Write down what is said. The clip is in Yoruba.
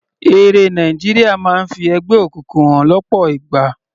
Eré Nàìjíríà máa ń fi ẹgbẹ́ òkùnkùn hàn lọ́pọ̀ ìgbà.